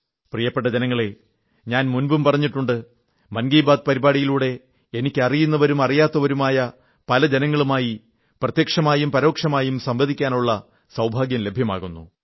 പ്രിയപ്പെട്ട ജനങ്ങളേ ഞാൻ മുമ്പും പറഞ്ഞിട്ടുണ്ട് മൻ കീ ബാത് പരിപാടിയിലൂടെ എനിക്ക് അറിയുന്നവരും അറിയാത്തവരുമായ പല ജനങ്ങളുമായി പ്രത്യക്ഷമായും പരോക്ഷമായും സംവദിക്കാനുള്ള സൌഭാഗ്യം ലഭ്യമാകുന്നു